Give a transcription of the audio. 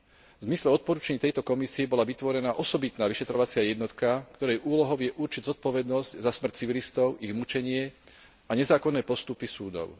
V zmysle odporúčaní tejto komisie bola vytvorená osobitná vyšetrovacia jednotka, ktorej úlohou je určiť zodpovednosť za smrť civilistov, ich mučenie a nezákonné postupy súdov.